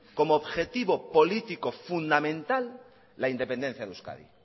como objetivo político fundamental la independencia de euskadi